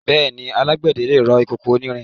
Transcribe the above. Bẹ́ẹ̀ni, alágbẹ̀dẹ lè rọ ìkòkò onírin.